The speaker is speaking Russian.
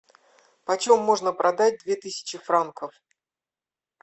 почем можно продать две тысячи франков